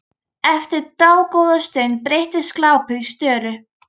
Eftir dágóða stund breytist glápið í störu.